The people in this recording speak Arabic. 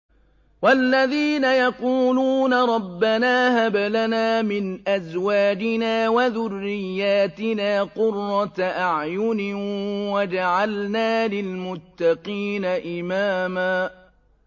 وَالَّذِينَ يَقُولُونَ رَبَّنَا هَبْ لَنَا مِنْ أَزْوَاجِنَا وَذُرِّيَّاتِنَا قُرَّةَ أَعْيُنٍ وَاجْعَلْنَا لِلْمُتَّقِينَ إِمَامًا